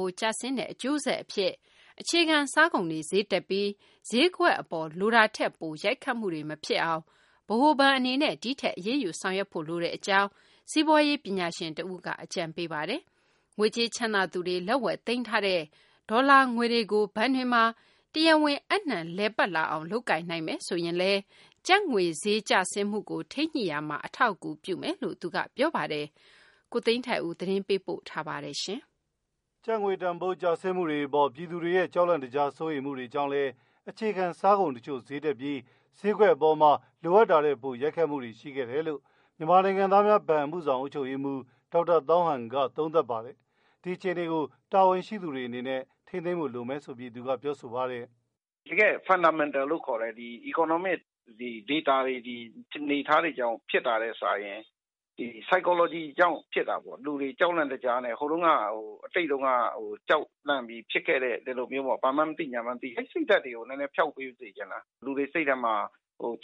ိုး ကျဆင်းတဲ့ အကျိုးဆက်အဖြစ် အခြေခံစားကုန်တွေ ဈေးတက်ပြီး ဈေးကွက်အပေါ် လိုတာထက်ပို ရိုက်ခတ်မှုတွေ မဖြစ်အောင် ဗဟိုဘဏ်အနေနဲ့ ဒီထက် အရေးယူ ဆောင်ရွက်ဖို့လိုတဲ့အကြောင်း စီးပွားရေး ပညာရှင်တဦးက အကြံပေးပါတယ်။ ငွေကြေးချမ်းသာသူတွေ လက်ဝယ်သိမ်းထားတဲ့ ဒေါ်လာငွေတွေကို ဘဏ်တွေမှာ တရားဝင် အပ်နှံလည်ပတ်လာအောင် လုပ်ကိုင်နိုင်မယ်ဆိုရင်လည်း ကျပ်ငွေဈေး ကျဆင်းမှုကို ထိန်းညှိရာမှာ အထောက်အကူပြုမယ်လို့ သူက ပြောပါတယ်။ ကိုသိန်းထိုက်ဦး သတင်းပေးပို့ထားပါတယ်။ ကျပ်ငွေတန်ဖိုးကျဆင်းတဲ့အပေါ် ပြည်သူတွေရဲ့ ကြောက်လန့်တကြား စိုးရိမ်မှုတွေကြောင့်လည်း၊ အခြေခံစားကုန်တချို့ ဈေးတက်ပြီး၊ ဈေးကွက်အပေါ် လိုတာထက် ပိုရိုက်ခတ်ခဲ့တာတွေ ရှိခဲ့တယ်လို့ မြန်မာနိုင်ငံသားများဘဏ် အမှုဆောင် အုပ်ချုပ်ရေးမှူး ဒေါက်တာသောင်းဟန်က သုံးသပ်ပါတယ်။ ဒီအခြေအနေကို တာဝန်ရှိသူတွေ အနေနဲ့ ထိန်းသိမ်းနိုင်ဖို့ လိုမယ်လို့ သူက ပြောဆိုပါတယ်။ "တကယ့် Fundamental လို့ခေါ်တဲ့ economic data တွေ အနေအထားတွေကြောင့် ဖြစ်တာထက်စာရင် ဒီ Psychology ကြောင့် ဖြစ်တာပေါ့။လူတွေကြောက်လန့်တကြားနဲ့ ဟိုးတုံးက အတိတ်တုန်းက ကြောက်လန့်ပြီး ဖြစ်ခဲ့တဲ့ ဘာမှန်းမသိ ညာမှန်းမသိ အဲ့စိတ်တွေကို နည်းနည်းဖျောက်ပေးစေချင်တာ။ လူတွေစိတ်ထဲမှာ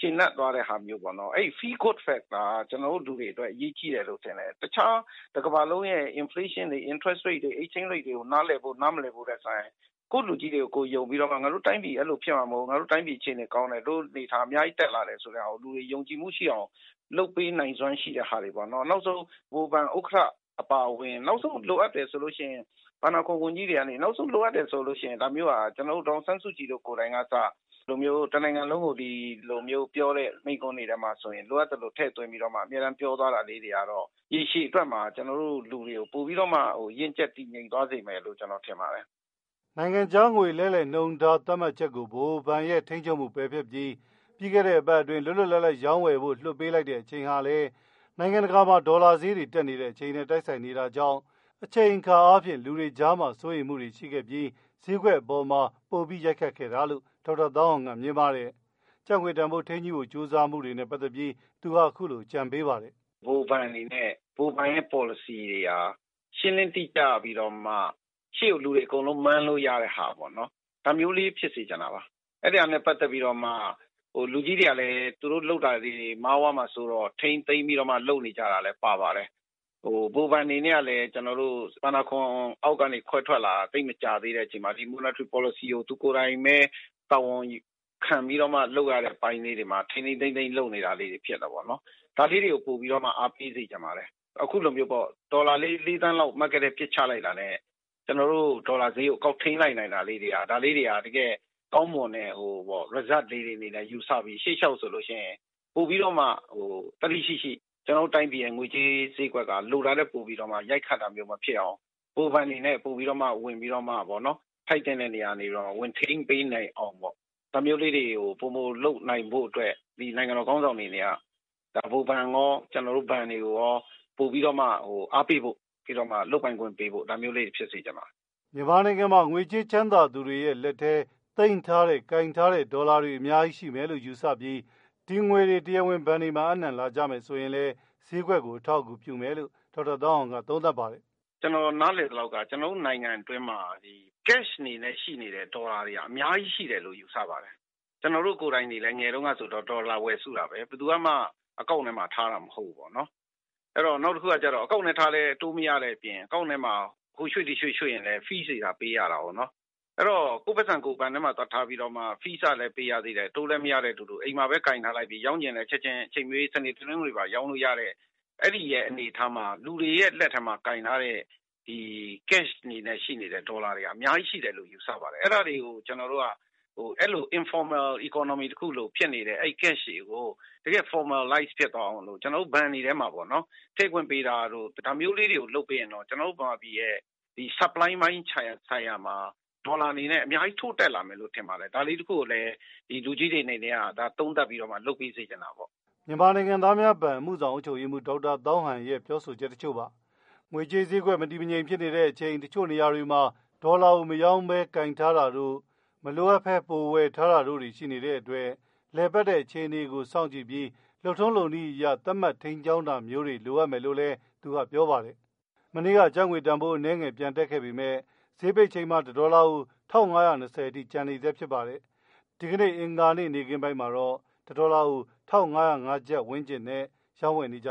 ကျေနပ်သွားတဲ့ ဟာမျိူး၊ အဲဒီ Feel Good Factor က ကျနော်တို့ လူအတွက် ရေးကြီးတယ်လို့ ထင်တယ်။ တခြား တစ်ကမ္ဘာလုံးရဲ့ Inflation တွေ၊ Exchange Rate တွေ Interest rate တွေကို နားလည်ဖို့ နားမလည်ဖို့ထက်စာရင် ကိုယ့်လူကြီးတွေကို ယုံပြီးတော့မှ ငါတို့အဲလိုဖြစ်မှာ မဟုတ်ဖူး၊ငါတို့တိုင်းပြည်အခြေအနေကောင်းတယ်၊ တိုင်းပြည်အများကြီး တက်လာတယ်ဆိုတဲ့ဟာကို လူတွေယုံကြည်မှုရှိအောင် လုပ်ပေးနိုင်စွမ်း ရှိတဲ့ဟာတွေပေါ့နော်၊ နောက်ဆုံး ဗဟိုဘဉ် ဥက္ကဋ္ဌ အပါအဝင်၊ နောက်ဆုံး လိုအပ်တယ်ဆိုလို့ ရှိရင် ဘန်နာအခွန်ဝန်ကြီးတွေကနေ ၊နောက်ဆုံးက ဒေါ်အောင်ဆန်းစုကြည်လို ကိုယ်တိုင်ကအစ တစ်နိုင်ငံလုံးကို မိန့်ခွန်းပြောတဲ့ထဲမှာ လိုအပ်သိလို ထည့်သွင်းပြောသွားတာလေးတွေကတော့ ရည်ရှည်အတွက်မှာ ကျနေ်ာတို့ လူတွေကို ပိုပြီးတော့မှ ရင့်ကျက်တည်ငြိမ်သွားစေမယ်လို့ ကျနော်ထင်ပါတယ်။" နိုင်ငံခြားငွေ လဲလှယ်နှုန်းထား သတ်မှတ်ချက်အပေါ် ဗဟိုဘဏ်ရဲ့ ထိန်းချုပ်မှု၊ ပယ်ဖျက်ပြီး လွတ်လွတ်လပ်လပ် ရောင်းဝယ်ဖို့ လွှတ်ပေးလိုက်တဲ့အချိန်ဟာလည်း နိုင်ငံတကာမှာ ဒေါ်လာဈေး တက်နေတဲ့အချိန်နဲ့ တိုက်ဆိုင်နေတာကြောင့် အချိန်အခါအားဖြင့်လည်း လူတွေကြားမှာ စိုးရိမ်းမှုတွေ ရှိခဲ့ပြီး၊ ဈေးကွက်အပေါ်ပိုပြီး ရိုက်ခတ်ခဲ့တာလို့ ဒေါက်သာ သောင်းဟန်က မြင်ပါတယ်။ ကျပ်ငွေတန်ဖိုး ထိန်းညှိ့ဖို့ ကြိုးစားရမှာ လုပ်ဆောင်သင့်တာတွေနဲ့ ပတ်သက်လို့လည်း သူက အခုလို ပြောပါတယ်။ "ဗဟိုဘဏ်ရဲ့ policy တွေဟာ ရှင်းလင်းတိကျပြီးတော့မှ ရှေ့ကိုလူတွေအကုန်လုံး မှန်းလို့ရတာပေါ့နော်။ ဒါမျိုးလေးဖြစ်စေ့ချင်တာပါ။ အဲ့ဒီဟာနဲ့ ပက်သက်ပြီးတော့မှ လူကြီးတွေကလည်း သူတို့လုပ်တာလေးတွေ မှားသွားမှာဆိုးတဲ့အတွက် ထိန်းသိမ်းလုပ်နေကြတယ်လို့လည်း ထင်ပါတယ်။ ဗဟိုဘဏ်အနေနဲ့ကလည်း ကျနော်တို့ ဘဏ္ဍာခွန်အောက်ကနေ ခွဲထွက်လာတာ သိပ်မကြာသေးတဲ့အချိန်မှာ ပေါ်လစီကို သူကိုယ်တိုင်ဘဲ တာဝန်ခံပီးတော့ လုပ်ရတဲ့အခါ ထိန်းထိန်းသိမ်းသိမ်း လုပ်နေရတယ်လို့ ကျနော်ထင်ပါတယ်။ ဒါလေးတွေကို ပိုပြီးတော့မှ အားပေးစေ့ချင်ပါတယ်.။အခုလိုမျိုးပေါ့ ဒေါ်လာလေးသန်းလောက် Market ထဲပစ်ချလိုက်တာနဲ့ ဒေါ်လာဈေးကို ကောက်ထိန်းလိုက်နိုင်တာလေးတွေက ဒါလေးတွေက ဗဟိုဘဏ်ရဲ့ ကောင်းမွန်တဲ့ result လို့ ယူဆပီး ရှေ့လျှောက် ပိုပီးတော့မှ သတ္တိရှိရှိ ကျနော်တို့ တိုင်းပြည်ရဲ့ ငွေကြေး ဈေးကွက်က လိုတာထက် ပိုပီးတော့မှ ရိုက်ခတ်တာမျိုး မဖြစ်ရအောင် ဗဟိုဘဏ်အနေနဲ့ ပိုပီးတော့မှ ထိုက်သင့်တဲ့နေရာကနေ ဝင်ထိန်းပေးနိုင်အောင်ပေါ့နော် ဒါမျိုးလေးတွေကို ပိုမိုလုပ်နိုင်ဖို့အတွက် နိုင်ငံတော် ခေါင်းဆောင်တွေ အနေနဲ့က ဗဟိုဘဏ်ရော ကျနော်တို့ဘဏ်တွေကိုရော အားပေးတာမျိုး လုပ်ပိုင်ခွင့်ပေးတာမျိုး၊ ဒါမျိုးလေးတွေ ဖြစ်စေချင်ပါတယ်။" မြန်မာနိုင်ငံမှာ ငွေကြေးချမ်းသာသူတွေရဲ့ လူတွေရဲ့ လက်ထဲမှာ ကိုင်ထားတဲ့ ဒေါ်လာတွေ အများကြီး ရှိမယ်လို့ ယူဆပြီး ဒီငွေတွေ တရားဝင် ဘဏ်တွေမှာ အပ်နှံလာကြမယ်ဆိုရင် ဈေးကွက်ကို အထောက်အကူအပြုမယ်လို့ ဒေါက်တာ ဟောင်းဟန်က သုံးသပ်ပါတယ်။ "ကျနော် နားလည်သလောက်က ကျနော်တို့ နိုင်ငံအတွင်းမှာ cash အနေနဲ့ ရှိနေတဲ့ ဒေါ်လာတွေက အများကြီး ရှိနေတယ်လို့ ယူဆပါတယ်။ကျနော်တို့ ကိုယ်တိုင်တွေလည်း ငယ်ငယ်တုန်းကဒေါ်လာဝယ်စုတာဘဲ။ နောက်တခုက Account ထဲထားလည်း အတိုးမရတဲ့အပြင် Account ထဲမှာ ဟိုရွှေ့ဒီရွှေ့ရွှေ့ရင် Fees တွေ ပေးရတာကို အဲတော့၊ ကိုယ့်ပိုက်ဆံကို ဘဏ်ထဲမှာသွားထားပီးတော့မှ fees ကလည်းပေးရသေးတယ် အတိုးလည်းမရမယ့်အတူတူ ရောင်းချင်လည်း ချက်ချင်း စနေ၊တနင်္ဂနွေပါ ရောင်းလို့ရတဲ့ အဲ့င်္ဒီအနေအထားမှာ လူတွေရဲ့ လက်ထဲမှာ ရှိနေတဲ့ Cash အနေနဲ့ ရှိနေတဲ့ ဒေါ်လာတွေဟာ အများကြီး ရှိတယ်လို့ ကျနေ်ာ ယူဆပါတယ်။ အဲ့ဒါတွေကို ကျနော်တို့က informal economy လို ဖြစ်နေတဲ့ Cash တွေကို တကယ့် formalize ဖြစ်သွားအောင် ဘဏ်တွေထဲမှာ ထည့်ခွင့်ပေးတာတို့ ဒါမျိုးလေးတွေ လုပ်နိုင်မယ်ဆိုရင် ကျနော်တို့ နိုင်ငံအနေနဲ့ supply ပိုင်းဆိုင်ရာမှာ ဒေါ်လာအနေနဲ့ အများကြီး ထိုးတက်လာနိုင်မယ်လို့ ကျနော်ထင်ပါတယ်။ဒါလေးတစ်ခုကိုလည်း သုံးသပ်ပီးတော့မှ လူကြီးတွေအနေနဲ့က လုပ်စေ့ချင်တာပေါ့။" မြန်မာနိုင်ငံသားများဘဏ် အမှုဆောင် အုပ်ချုပ်ရေးမှူး ဒေါက်တာသောင်းဟန် ပြောပြသွားတာပါ။ ငွေကြေးဈေးကွက် မတည်မငြိမ်ဖြစ်တဲ့အချိန်မှာ တချို့နေရာတွေမှာ ဒေါ်လာကို မရောင်းဘဲနဲ့ ကိုင်ထားတာတို့၊ ပိုပြီးမှ ဝယ်ထားတာတို့ ရှိနေတဲ့အတွက် လည်ပတ်နေတဲ့အခြေအနေကို စောင့်ကြည့်ပြီး လုပ်ထုံးလုပ်နည်း အရ သတ်မှတ် ထိန်းကြောင်းတာမျိုးတွေ လိုအပ်မယ်လို့ ဒေါက်တာ သောင်းဟန်က ပြောပါတယ်။ မနေ့က ကျပ်ငွေတန်ဖိုး အနည်းငယ် ပြန်တက်ခဲ့ပေမဲ့ ဈေးပိတ်ချိန်မှာ တဒေါ်လာကို ၁၅၂၀ အထိ ကျန်နေဆဲဖြစ်ပါတယ်။ အဂါၤနေ့နေ့ခင်းပိုင်းမှာတော့ ၁၅၀၅ ကျပ်ဝန်းကျင်နဲ့ ရောင်းဝယ်နေကြ